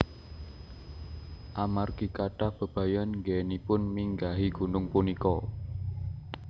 Amargi kathah bebayan anggenipun minggahi gunung punika